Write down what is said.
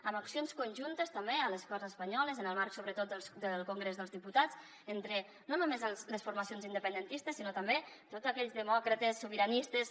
amb accions conjuntes també a les corts espanyoles en el marc sobretot del congrés dels diputats entre no només les formacions independentistes sinó també tots aquells demòcrates sobiranistes